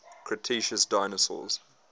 cretaceous dinosaurs